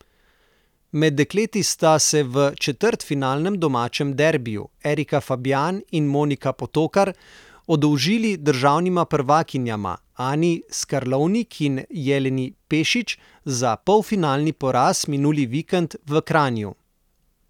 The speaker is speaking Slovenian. Med dekleti sta se v četrtfinalnem domačem derbiju Erika Fabjan in Monika Potokar oddolžili državnima prvakinjama Ani Skarlovnik in Jeleni Pešič za polfinalni poraz minuli vikend v Kranju.